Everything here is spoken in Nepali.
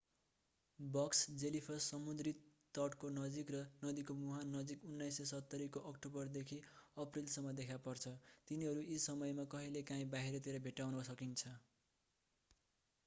बक्स जेलीफिस समुद्री तटको नजिक र नदीको मुहान नजिक 1970 को अक्टोबरदेखि अप्रिलसम्म देखा पर्छ तिनीहरू यी समयमा कहिलेकाहिँ बाहिरतिर भेट्टाउन सकिन्छ